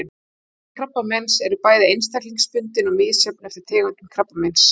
Einkenni krabbameins eru bæði einstaklingsbundin og misjöfn eftir tegundum krabbameins.